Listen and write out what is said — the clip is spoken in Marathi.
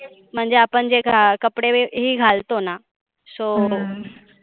म्हणजे आपण जे कपडे वगैरे घालतोना so